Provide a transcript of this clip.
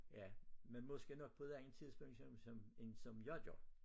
Ja men måske nok på et andet tidspunkt som som end som jeg gør